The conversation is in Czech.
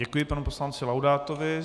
Děkuji panu poslanci Laudátovi.